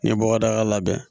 N ye bɔgɔdaga labɛn